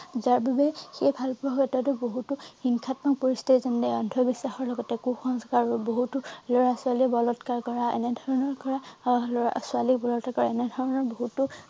যাৰ বাবে সেই ভালপোৱা ক্ষেত্ৰতো বহুতো হিংসাত্মক পৰিস্থিতি যেনে অন্ধ বিশ্বাসৰ লগতে কুসংস্কাৰো বহুতো লৰা ছোৱালী বলৎকাৰ কৰা এনেধৰণৰ কৰা অহ লৰা ছোৱালী কৰে এনেধৰণৰ বহুতো